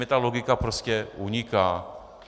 Mně ta logika prostě uniká.